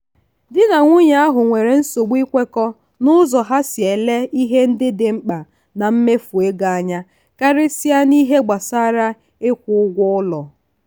di na nwunye ahụ nwere nsogbu ikwekọ n'ụzọ ha si ele ihe ndị dị mkpa na mmefu ego anya karịsịa n'ihe gbasara ịkwụ ụgwọ ụlọ.